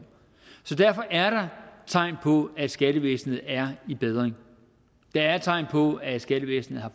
så derfor er der tegn på at skattevæsenet er i bedring der er tegn på at skattevæsenet har